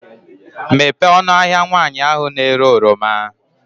Mepee ọnụ ahịa nwaanyị ahụ na-ere oroma.